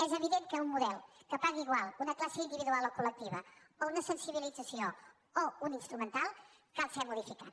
és evident que un model que pagui igual una classe individual o col·lectiva o una sensibilització o un instrumental cal ser modificat